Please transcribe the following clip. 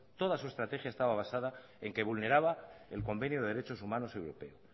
toda su estrategia estaba basada en que vulneraba el convenio de derechos humanos europeo